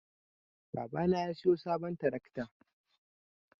Babana ya siyo sabon tarakta.